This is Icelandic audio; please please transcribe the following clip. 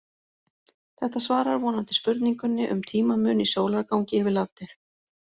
Þetta svarar vonandi spurningunni um tímamun í sólargangi yfir landið.